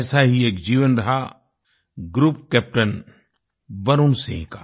ऐसा ही एक जीवन रहा ग्रुप कैप्टन वरुण सिंह का